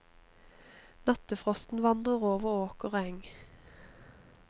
Nattefrosten vandrer over åker og eng.